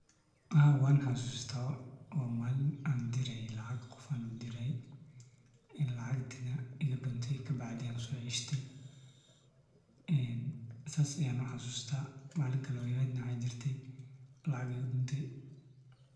Haa wan xasusta oo malin an lacag tiraye ee lacagtana igadunte kadib an soceshte sidas aya uxasusta. Malin kale oo waxa jirtay.